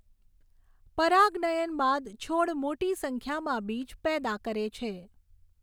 પરાગનયન બાદ છોડ મોટી સંખ્યામાં બીજ પેદા કરે છે.